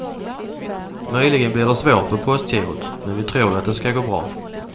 Möjligen blir det svårt på postgirot, men vi tror ju att det ska gå bra.